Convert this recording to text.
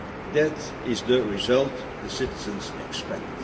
growth. That is the result the citizens